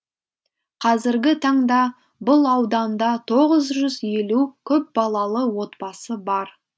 қазіргі таңда бұл ауданда тоғыз жүз елу көпбалалы отбасы бар